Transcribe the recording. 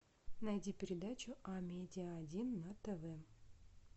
найди передачу амедиа один на тв